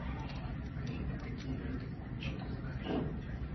афина какие виды гуччи ты знаешь